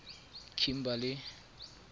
kimberley